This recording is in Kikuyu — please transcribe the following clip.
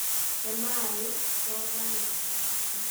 He maĩ, soda na cabaci